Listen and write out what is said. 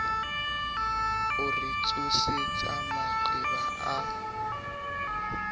o re tsosetsa maqeba a